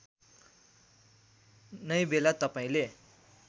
नै बेला तपाईँले